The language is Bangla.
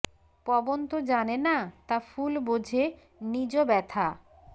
পবন তো জানে না তা ফুল বোঝে নিজ ব্যথা